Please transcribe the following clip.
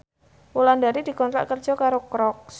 Wulandari dikontrak kerja karo Crocs